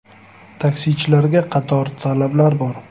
Taksichilarga qator talablar bor.